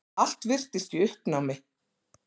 Allt virðist í uppnámi.